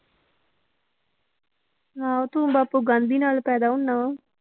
ਆਹੋ ਤੂੰ ਬਾਪੂ ਗਾਂਧੀ ਨਾਲ ਪੈਦਾ ਹੁਨਾ ਵਾਂ।